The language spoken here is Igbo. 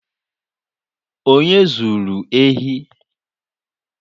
Onye zuru ehi?